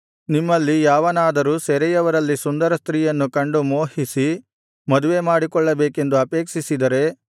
ನಿಮ್ಮಲ್ಲಿ ಯಾವನಾದರೂ ಸೆರೆಯವರಲ್ಲಿ ಸುಂದರ ಸ್ತ್ರೀಯನ್ನು ಕಂಡು ಮೋಹಿಸಿ ಮದುವೆಮಾಡಿಕೊಳ್ಳಬೇಕೆಂದು ಅಪೇಕ್ಷಿಸಿದರೆ